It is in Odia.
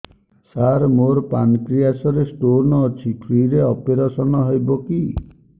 ସାର ମୋର ପାନକ୍ରିଆସ ରେ ସ୍ଟୋନ ଅଛି ଫ୍ରି ରେ ଅପେରସନ ହେବ କି